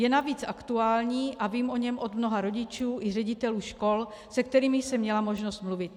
Je navíc aktuální a vím o něm od mnoha rodičů i ředitelů škol, se kterými jsem měla možnost mluvit.